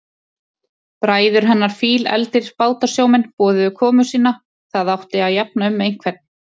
Bræður hennar, fílefldir bátasjómenn, boðuðu komu sína, það átti að jafna um einhvern.